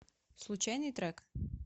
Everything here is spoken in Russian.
случайный трек